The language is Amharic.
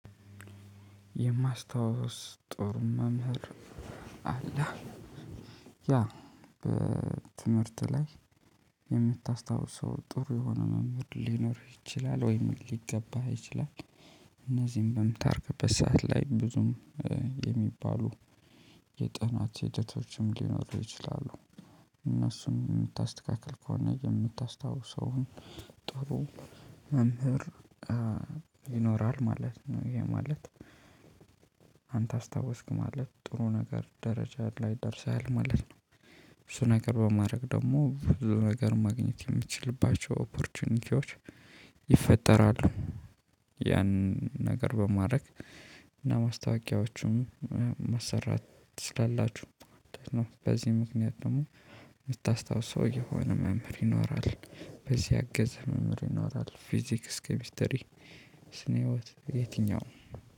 የማስታወስ ጥሩ መምህር አለ። ያ በትምህርት ላይ የምታስታውሰው ጥሩ የሆነ መምህር ሊኖርህ ይችላል ወይም ሊገባህ ይችላል። እነዚህን በምታርቅበት ሰዓት ላይ ብዙም የሚባሉ የጥናት ሂደቶችም ሊኖሩ ይችላሉ። እነሱን የምታስተካክል ከሆነ የምታስታውሰውን ጥሩ መምህር ይኖራል ማለት ነው። ይሄ ማለት አንተ አስታወስክ ማለት ጥሩ ነገር ደረጃ ላይ ደርሰሃል ማለት ነው። እሱ ነገር በማድረግ ደግሞ ብዙ ነገር ማግኘት የሚችልባቸው ኦፖርቹኒቲዎች ይፈጠራሉ። ያን ነገር በማድረግ እና ማስታወቂያዎቹም መስራት ትችላላችሁ ማለት ነው። በዚህ ምክንያት ደግሞ የምታስታውሰው የሆነ መምህር ይኖራል። በዚህ አገዝ መምህር እናወጣለን ፊዚክስ ኬሚስተሪ ስነ ህይወት የትኛው